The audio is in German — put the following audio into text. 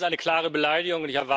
Das ist eine klare Beleidigung!